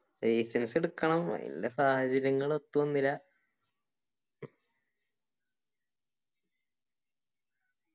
licence എടുക്കണം ആയിൻ്റെ സാഹചര്യങ്ങള് ഒത്തുവന്നില്ല